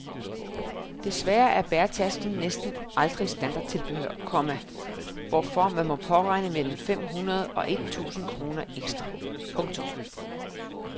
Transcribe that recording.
Desværre er bæretaske næsten aldrig standardtilbehør, komma hvorfor man må påregne mellem fem hundrede og et tusind kroner ekstra. punktum